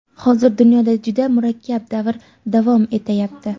Hozir dunyoda juda murakkab davr davom etayapti.